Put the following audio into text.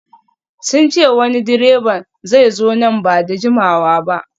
Sun ce wani direban zai zo nan ba da jimawa ba